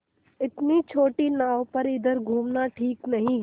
इतनी छोटी नाव पर इधर घूमना ठीक नहीं